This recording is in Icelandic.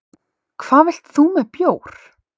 Hvað vilt þú með bjór?